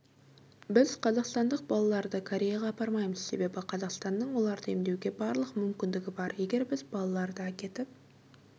біз қазақстандық балаларды кореяға апармаймыз себебі қазақстанның оларды емдеуге барлық мүмкіндігі бар егер біз балаларды әкетіп